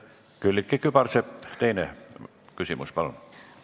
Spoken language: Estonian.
Külliki Kübarsepp, teine küsimus, palun!